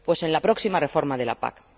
Pues en la próxima reforma de la PAC.